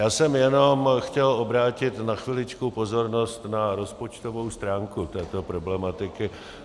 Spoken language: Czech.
Já jsem jenom chtěl obrátit na chviličku pozornost na rozpočtovou stránku této problematiky.